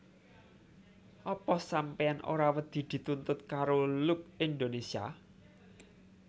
Apa sampeyan ora wedi dituntut karo Look Indonesia